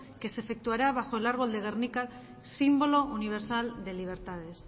que se efectuará bajo el árbol de gernika símbolo universal de libertades